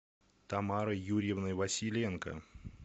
тамарой юрьевной василенко